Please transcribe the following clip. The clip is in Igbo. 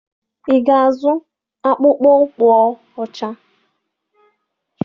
Ị ga-azụ akpụkpọ ụkwụ ọcha?